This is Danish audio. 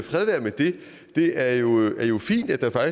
det er jo fint at der